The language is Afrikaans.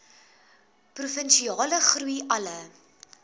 provinsiale groei alle